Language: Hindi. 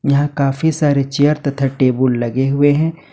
यहां काफी सारे चेयर तथा टेबुल लगे हुए हैं।